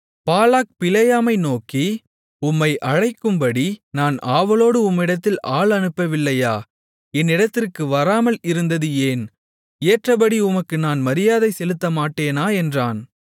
பாலாக் பிலேயாமை நோக்கி உம்மை அழைக்கும்படி நான் ஆவலோடு உம்மிடத்தில் ஆள் அனுப்பவில்லையா என்னிடத்திற்கு வராமல் இருந்தது ஏன் ஏற்றபடி உமக்கு நான் மரியாதை செலுத்தமாட்டேனா என்றான்